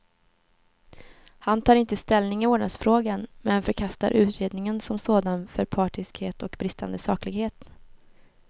Han tar inte ställning i vårdnadsfrågan, men förkastar utredningen som sådan för partiskhet och bristande saklighet.